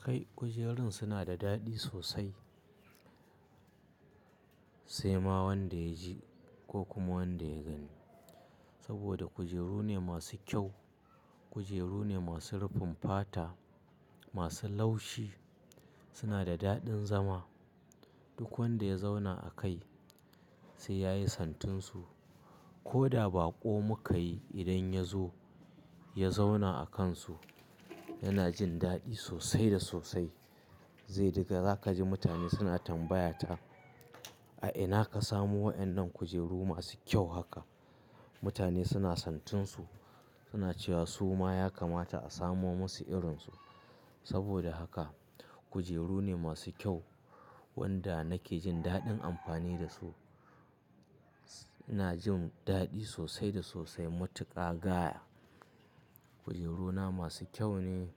Kai kujerun suna da daɗi sosai. Sai ma wanda ya ji ko kuma wanda ya gani. Saboda kujeru ne masu kyau, kujeru ne masu rufin fata, masu laushi. Suna da daɗin zama. Duk wanda ya zauna a kai sai yayi santinsu. Ko da baƙo muka yi idan ya zo ya zauna a kansu yana jin daɗi sosai da sosai. Zai daga za kaji mutane suna tambaya ta, a ina ka samo waƴannan kujeru masu kyau haka? Mutane suna santinsu suna cewa "su ma ya kamata a samo musu irinsu". Saboda haka kujeru ne masu kyau wanda nake jin daɗin amfani da su. Ina jin daɗi sosai da sosai matuƙa gaya kujeruna masu kyau ne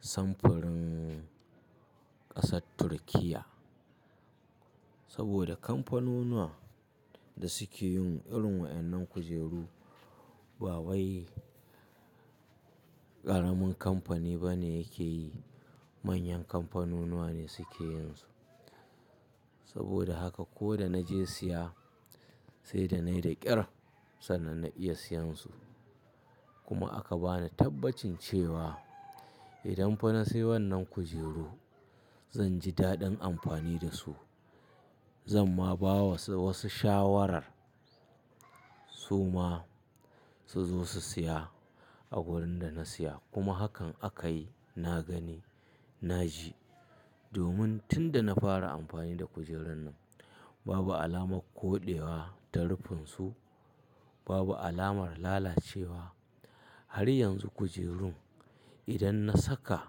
samfurin ƙasar Turkiyya. Saboda kamfanunuwa da suke yin irin waƴannan kujeru ba wai ƙaramin kamfani ba ne yake yi. Manyan kamfanunuwa ne suke yin su. Saboda haka ko da na je siya sai da na yi da ƙyar sannan na iya siyansu. Kuma aka bani tabbacin cewa idan fa na sayi wannan kujeru zan ji daɗin amfani da su. Zan ma ba wa wasu shawarar su ma su zo su siya a wurin da na siya kuma hakan aka yi. Na gani, na ji. Domin tunda na fara amfani da kujerun nan babu alamar koɗewa ta rufin su, babu alamar lalacewa. Har yanzu kujerun idan na saka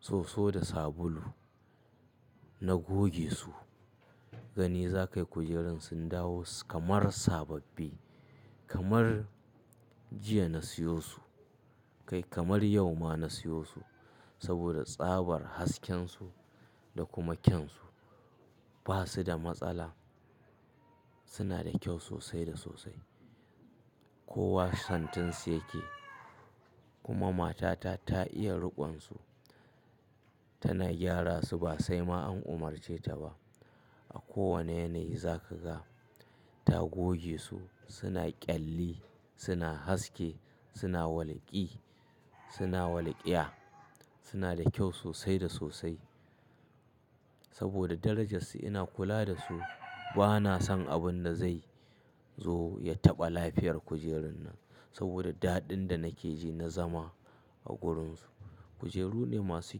soso da sabulu na goge su, gani za kayi kujerun sun dawo kamar sababbi. Kamar jiya na siyo su. Kai kamar yau ma na siyo su. Saboda tsabar hasken su da kuma kyansu ba su da matsala. Suna da kyau sosai da sosai. Kowa santinsu yake kuma matata ta iya riƙon su. Tana gyara su ba sai ma an umarce ta ba. A kowane yanayi za ka ga ta goge su suna ƙyalli, suna haske, suna walƙi, suna walƙiya. Suna da kyau sosai da sosai. Saboda darajarsu ina kula da su. Ba na san abin da zai zo ya taɓa lafiyar kujerun nan. Saboda daɗin da nake ji na zama a gurin su. Kujeru ne masu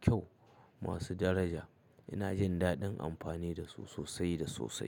kyau, masu daraja. Ina jin daɗin amfani da su sosai da sosai.